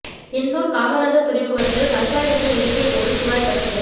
எண்ணூர் காமராஜர் துறைமுகத்தில் கச்சா எண்ணெய் இறக்கிய போது குழாய் கசிவு